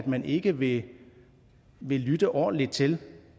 man ikke vil vil lytte ordentligt til